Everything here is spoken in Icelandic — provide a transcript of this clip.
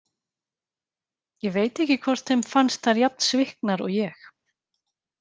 Ég veit ekki hvort þeim fannst þær jafn sviknar og ég.